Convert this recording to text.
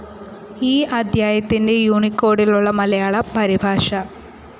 ഈ അദ്ധ്യായത്തിന്റെ യൂണികോഡിലുള്ള മലയാളം പരിഭാഷ